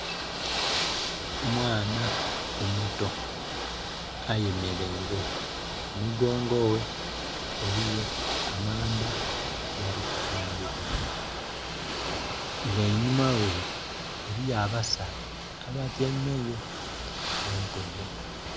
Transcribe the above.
Omwana omuto ayemeleire emigongo ghe eriyo amanda agali ku tundhibwa. Nga einhuma ghe eriyo abasaadha abatyaime yo ku ntebe.